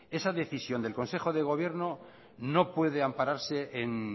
esa decisión del consejo de gobierno no puede ampararse en